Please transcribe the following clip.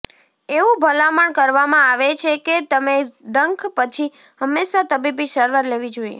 એવું ભલામણ કરવામાં આવે છે કે તમે ડંખ પછી હંમેશાં તબીબી સારવાર લેવી જોઈએ